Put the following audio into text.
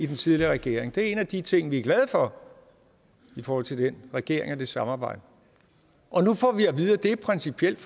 den tidligere regering det er en af de ting vi er glade for i forhold til den regering og det samarbejde og nu får vi at vide at det principielt